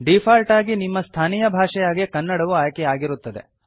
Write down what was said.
default ಆಗಿ ನಿಮ್ಮ ಸ್ಥಾನೀಯ ಭಾಷೆಯಾಗಿ ಕನ್ನಡವು ಆಯ್ಕೆಯಾಗಿರುತ್ತದೆ